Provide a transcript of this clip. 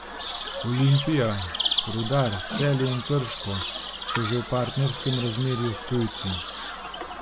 Olimpija, Rudar, Celje in Krško so že v partnerskem razmerju s tujci.